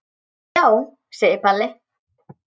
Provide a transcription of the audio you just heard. Já, segir Palli.